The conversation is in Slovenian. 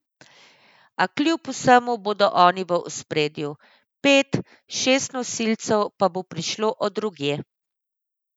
A kljub vsemu bodo oni v ospredju, pet, šest nosilcev pa bo prišlo od drugje.